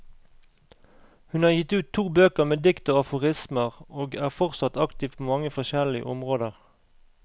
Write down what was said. Hun har gitt ut to bøker med dikt og aforismer, og er fortsatt aktiv på mange forskjellige områder.